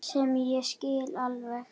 Sem ég skil alveg.